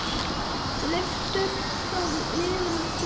Leiftur frá liðnum tíma.